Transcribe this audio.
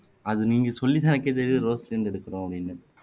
அது நீங்க சொல்லி தான் எனக்கே தெரியுது அது ரோஸ்ல இருந்து எடுக்குறோம் அப்படின்னு